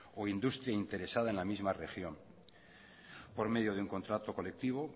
o industria interesada en la misma región a por medio de un contrato colectivo